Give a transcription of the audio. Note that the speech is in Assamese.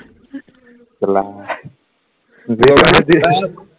দেওবাৰে